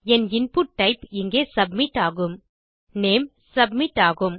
என் input type இங்கே submitஆகும் name submit ஆகும்